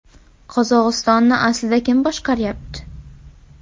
Qozog‘istonni aslida kim boshqaryapti?